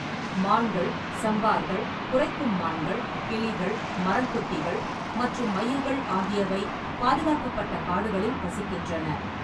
மான்கள், சாம்பார்கள், குரைக்கும் மான்கள், கிளிகள், மரங்கொத்திகள் மற்றும் மயில்கள் ஆகியவை பாதுகாக்கப்பட்ட காடுகளில் வசிக்கின்றன.